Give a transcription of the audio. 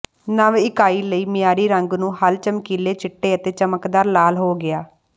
ਨਵ ਇਕਾਈ ਲਈ ਮਿਆਰੀ ਰੰਗ ਨੂੰ ਹੱਲ ਚਮਕੀਲੇ ਚਿੱਟੇ ਅਤੇ ਚਮਕਦਾਰ ਲਾਲ ਹੋ ਗਿਆ